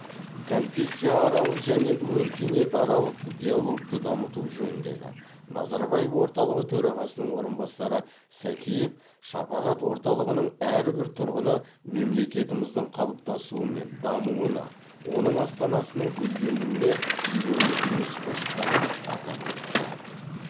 конфессияаралық және өркениетаралық диалогты дамыту жөніндегі назарбаев орталығы төрағасының орынбасары сәкиев шапағат орталығының әрбір тұрғыны мемлекетіміздің қалыптасуы мен дамуына оның астанасының гүлденуіне елеулі үлес қосқанын атап өтті